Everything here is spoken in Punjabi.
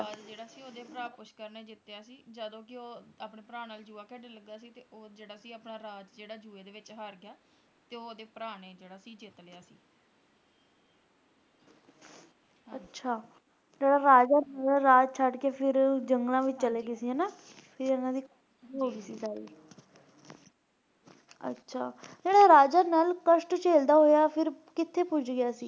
ਅੱਛਾ ਜਿਹੜਾ ਰਾਜਾ ਸੀਗਾ ਰਾਜ ਛੱਡਕੇ ਫਿਰ ਜੰਗਲਾਂ ਵਿੱਚ ਚਲ ਗਏ ਸੀ ਹਨਾ ਫਿਰ ਇਹਨਾਂ ਦੀ ਅੱਛਾ ਜਿਹੜਾ ਰਾਜ ਨਲ ਕਸ਼ਟ ਝੇਲਦਾ ਹੋਏ ਕਿਥੇ ਪੁੱਜ ਗਿਆ ਸੀ